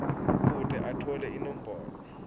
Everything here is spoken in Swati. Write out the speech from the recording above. kute atfole imibono